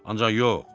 Ancaq yox,